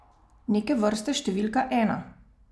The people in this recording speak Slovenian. Neke vrste številka ena.